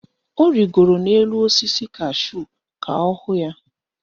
Ọ rigoro n'elu osisi kashúù ka ọ hụ ya.